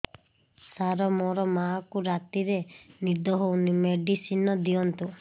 ସାର ମୋର ମାଆଙ୍କୁ ରାତିରେ ନିଦ ହଉନି ମେଡିସିନ ଦିଅନ୍ତୁ